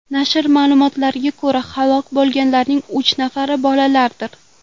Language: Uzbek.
Nashr ma’lumotlariga ko‘ra, halok bo‘lganlarning uch nafari bolalardir.